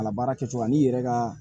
A labaara kɛcogo la n'i yɛrɛ ka